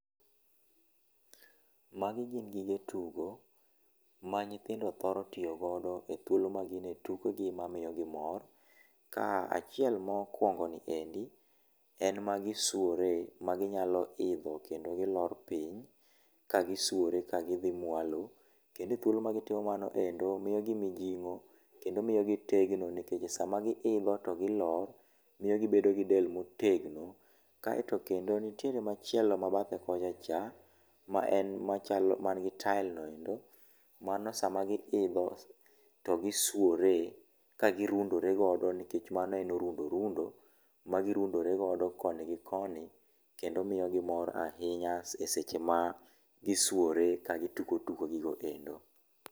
Magi gin gige tugo ma nyithindo thoro tugo godo e thuolo ma gin e tukegi mamiyo gi mor, ka achiel mokwongo ni endi en magi suore maginyalo idho kendo gilor piny ka gisuore kagidhi mwalo. Kendo e thuolo magitimo mano endo miyo gi mijing'o, kendo miyo gitegno nikech sama giidho to gilor, miyo gibedo gi del motegno. Kaeto kendo nitiere machielo ma bathe kocha cha ,ma en ma nigi tael no endo, mano sama giidho, to gisuore kagirundore godo nikech mano en orundo rundo magi rundore godo koni gi koni . Kendo miyo gi mor ahinya e seche magisuore kagitugo tugo gigo endo.